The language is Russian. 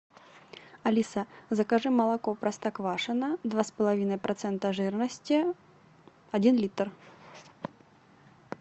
алиса закажи молоко простоквашино два с половиной процента жирности один литр